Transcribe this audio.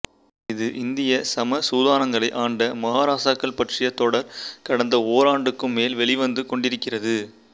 இது இந்திய சமசுதானங்களை ஆண்ட மகாராசாக்கள் பற்றிய தொடர் கடந்த ஓராண்டுக்கும் மேல் வெளிவந்து கொண்டிருக்கிறது